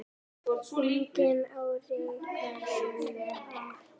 Einnig á Richard soninn Arthur.